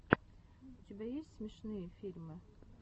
у тебя есть смешные фильмы